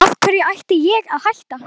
Af hverju ætti ég að hætta?